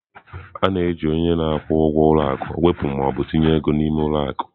A na-eji onye na-akwụ ụgwọ ụlọ akụ wepụ ma ọ bụ tinye ego n'ime ụlọ akụ.